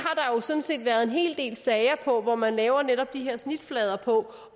sådan set været en hel del sager om hvor man laver netop de her snitflader for